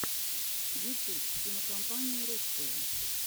ютуб кинокомпания русское